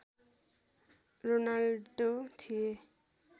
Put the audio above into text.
Ronaldo थिए